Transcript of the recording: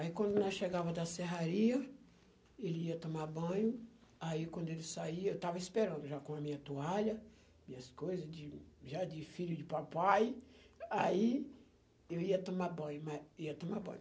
Aí quando nós chegava da serraria, ele ia tomar banho, aí quando ele saia, eu estava esperando já com a minha toalha, minhas coisas, de, já de filho de papai, aí eu ia tomar banho, ia tomar banho.